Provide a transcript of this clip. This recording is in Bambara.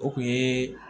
O kun ye